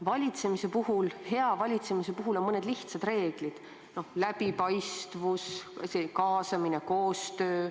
Valitsemise, hea valitsemise puhul on mõned lihtsad reeglid: läbipaistvus, kaasamine ja koostöö.